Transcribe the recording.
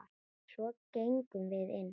Svo gengum við inn.